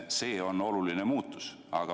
See on oluline muutus.